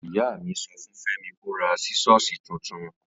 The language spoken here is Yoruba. Ìyámí sọfún Fẹmi kó rà sísọ̀sí títùn.